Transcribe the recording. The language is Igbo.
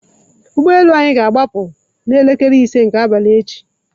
Ụgbọ elu anyị ga-agbaa pu n'elekere ise nke abalị echi.